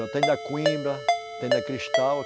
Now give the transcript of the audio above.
Eu tenho da coimbra, tenho da cristal.